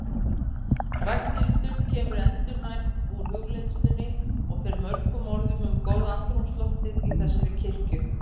Ragnhildur kemur endurnærð úr hugleiðslunni og fer mörgum orðum um góða andrúmsloftið í þessari kirkju.